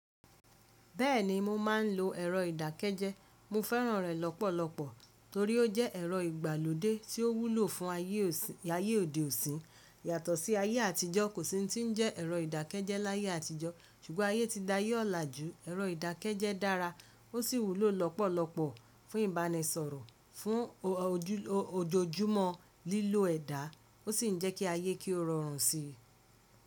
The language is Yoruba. Bẹ́ẹ̀ni mo máa ń lo ẹ̀rọ ìdàkejẹ, mo fẹ́ràn rẹ lọ́pọ̀lọpọ̀ torí ó jẹ́ ẹ̀rọ ìgbàlódé tí ó wúlò fún ayé òde ò sín yàtọ̀ sí ayé àtijọ́. Kò sí hun tí ń jẹ́ ẹ̀rọ ìdàkejẹ láyé àtijọ́, ṣùgbọ́n ayé ti da yé ọlà jù. Ẹ̀rọ ìdàkejẹ dára ó sì wúlò lọ́pọ̀lọpọ̀ fún ìbánisọ̀rọ̀, fún òjojúmọ́ lílo ẹ̀dá, ó sì ń jẹ́ kí ayé kí ó rọrùn síi.